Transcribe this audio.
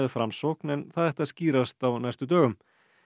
Framsókn en það ætti að skýrast á næstu dögum